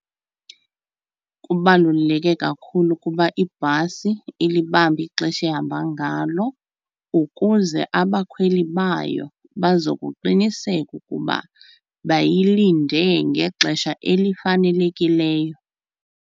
Kubaluleke kakhulu ukuba ibhasi ilibambe ixesha ehamba ngalo ukuze abakhweli bayo bazokuqiniseka ukuba bayilinde ngexesha elifanelekileyo.